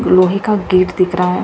लोहे का गेट दिख रहा है।